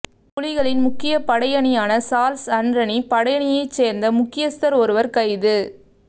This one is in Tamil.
புலிகளின் முக்கிய படையணியான சார்ள்ஸ் அன்ரனி படையணியை சேர்ந்த முக்கியஸ்தர் ஒருவர் கைது